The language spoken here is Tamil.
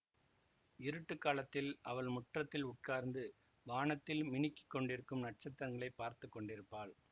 இருட்டுக் காலத்தில் அவள் முற்றத்தில் உட்கார்ந்து வானத்தில் மினுக்கிக் கொண்டிருக்கும் நட்சத்திரங்களைப் பார்த்து கொண்டிருப்பாள்